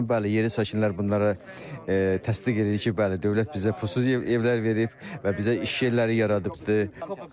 Bəli, yerli sakinlər bunları təsdiq edir ki, bəli, dövlət bizə pulsuz evlər verib və bizə iş yerləri yaradıbdır.